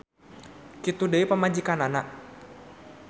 Kitu deui pamajikanana.